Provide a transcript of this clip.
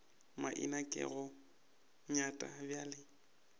maina ke go nyat bjale